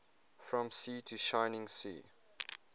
from sea to shining sea